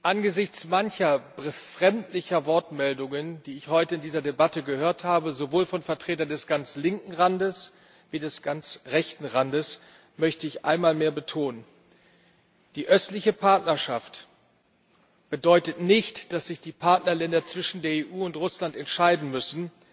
Angesichts mancher befremdlicher Wortmeldungen, die ich heute in dieser Debatte gehört habe sowohl von Vertretern des ganz linken Randes als auch des ganz rechten Randes möchte ich einmal mehr betonen Die Östliche Partnerschaft bedeutet nicht, dass sich die Partnerländer zwischen der EU und Russland entscheiden müssen.